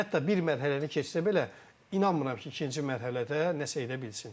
Hətta bir mərhələni keçsə belə, inanmıram ki, ikinci mərhələdə nəsə edə bilsin.